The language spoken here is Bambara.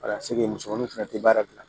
musomaninw fana tɛ baara gilan